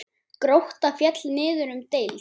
Grótta féll niður um deild.